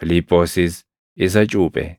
Fiiliphoosis isa cuuphe.